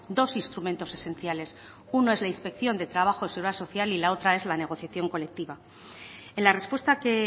dos instrumentos esenciales uno es la inspección de trabajo y seguridad social y la otra es la negociación colectiva en la respuesta que